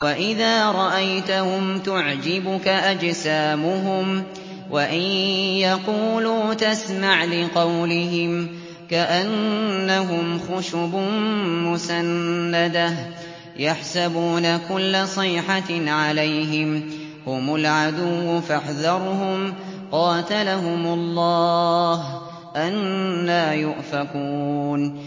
۞ وَإِذَا رَأَيْتَهُمْ تُعْجِبُكَ أَجْسَامُهُمْ ۖ وَإِن يَقُولُوا تَسْمَعْ لِقَوْلِهِمْ ۖ كَأَنَّهُمْ خُشُبٌ مُّسَنَّدَةٌ ۖ يَحْسَبُونَ كُلَّ صَيْحَةٍ عَلَيْهِمْ ۚ هُمُ الْعَدُوُّ فَاحْذَرْهُمْ ۚ قَاتَلَهُمُ اللَّهُ ۖ أَنَّىٰ يُؤْفَكُونَ